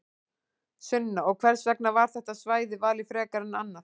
Sunna: Og hvers vegna var þetta svæði valið frekar en annað?